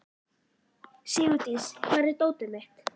Sigurdís, hvar er dótið mitt?